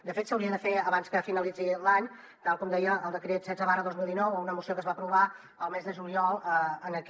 de fet s’hauria de fer abans que finalitzi l’any tal com deia el decret setze dos mil dinou o una moció que es va aprovar el mes de juliol en aquest